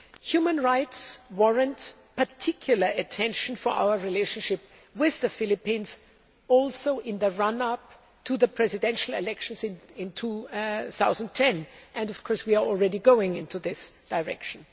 Human rights warrant particular attention for our relationship with the Philippines, also in the run up to the presidential elections in 2010, and we are already going in this direction.